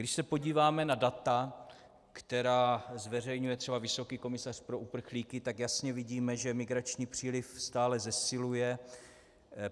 Když se podíváme na data, která zveřejňuje třeba vysoký komisař pro uprchlíky, tak jasně vidíme, že migrační příliv stále zesiluje.